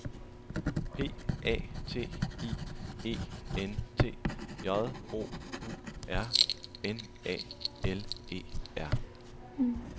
P A T I E N T J O U R N A L E R